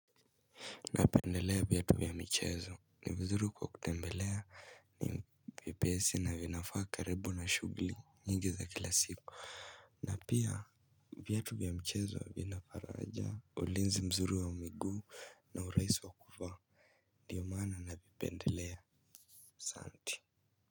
Napendelea viatu vya michezo ni vizuri kwa kutembelea ni vyepesi na vinafaa karibu na shughuli nyingi za kila siku. Na pia viatu vya michezo vina faraja ulinzi mzuri wa miguu na urahisi wa kuvaa ndio maana navipendelea asanti.